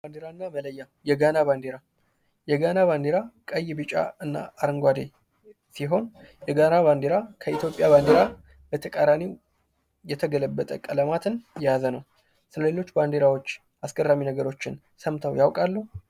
ባንዲራና መለያ የጋና ባንዲራ የጋና ባንዲራ ቀይ፣ ቢጫ እና አረንጓደ ሲሆን የጋና ባንዲራ ከኢትዮጵያ ባንዲራ በተቃራኒ የተገለበጠ ቀለማትን የያዘ ነው። ከሌሎች ባንዲራወች አስገራሚ ነገሮችን ሰምተው ያውቃሉ?